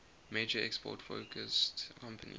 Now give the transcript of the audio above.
major export focused companies